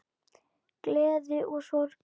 Gleði og sorg.